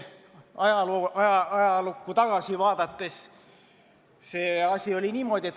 Ajalukku tagasi vaadates näeme, et see asi oli niimoodi.